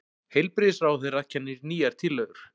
Heilbrigðisráðherra kynnir nýjar tillögur